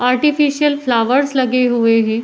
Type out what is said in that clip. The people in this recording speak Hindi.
आर्टिफीसियल फ्लावर्स लगे हुए हैं।